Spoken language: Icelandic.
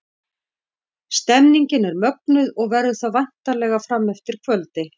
Stemningin er mögnuð og verður það væntanlega fram eftir kvöldi!